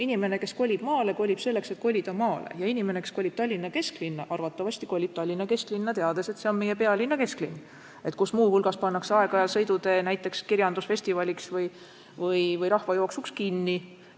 Inimene, kes kolib maale, kolib sinna, sest ta tahab kolida maale, ja inimene, kes kolib Tallinna kesklinna, arvatavasti kolib Tallinna kesklinna, teades, et see on meie pealinna kesklinn, kus muu hulgas pannakse aeg-ajalt sõidutee näiteks kirjandusfestivaliks või rahvajooksuks kinni.